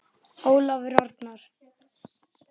Ólafur Arnar.